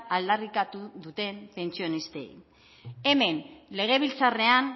aldarrikatu duten pentsionistei hemen legebiltzarrean